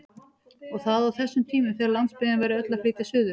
Og það á þessum tímum þegar landsbyggðin væri öll að flytja suður!